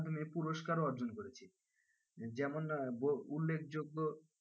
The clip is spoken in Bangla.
মাধ্যমে পুরস্কারও অর্জন করেছে। যেমন উল্লেখযোগ্য,